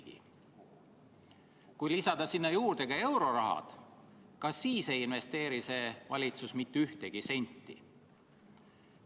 Ka siis, kui lisada sinna juurde eurorahad, ei investeeri see valitsus mitte ühtegi senti.